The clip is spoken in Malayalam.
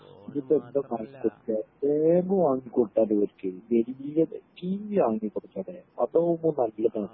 ഇതിപ്പോ എന്താ വാങ്ങികൊടുക്കെ വല്യ ടീവീ വാങ്ങികൊടുക്കാലെ അതാവുമ്പോ നല്ലതാ